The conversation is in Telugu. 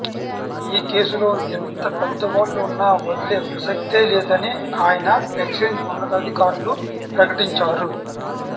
ఈ కేసులో ఎంత పెద్దవాళ్లు ఉన్నా వదిలే ప్రసక్తే లేదని ఆయన ఎక్సైజ్ ఉన్నతాధికారులు ప్రకటించారు